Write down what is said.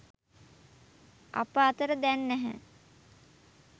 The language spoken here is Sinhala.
අප අතර දැන් නැහැ